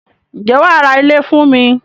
Ǹjẹ́ wàá ra ilé fún mi?